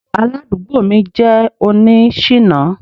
Aládùúgbò mi jẹ́ oní ṣìná.